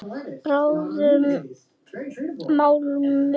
Bráðnum málmi.